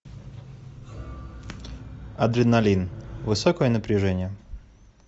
адреналин высокое напряжение